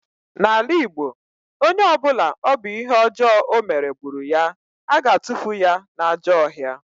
N'ala Igbo, onye ọ bụla ọ bụ ihe ọjọọ ọ mere gburu ya, a na-atufu ya n'ajọ ọhịa